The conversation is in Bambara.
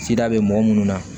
Sida bɛ mɔgɔ minnu na